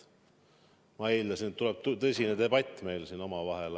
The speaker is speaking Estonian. Ma eeldasin, et tuleb tõsine debatt meil siin omavahel.